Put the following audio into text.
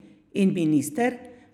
In minister?